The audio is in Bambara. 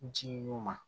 Ji ɲuman